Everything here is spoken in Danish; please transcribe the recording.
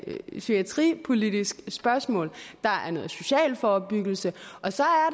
psykiatripolitisk spørgsmål der er noget social forebyggelse og så